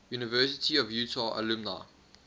university of utah alumni